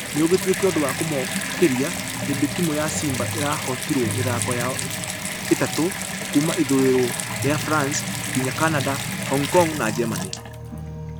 Nũĩgĩtueka ũndũ wa kũmokeria hĩndĩ timũ ya simba ĩrahotirwo mĩthako yao ĩtatũ kuuma ithũirwo rĩa france nginya canada , hong kong na germany .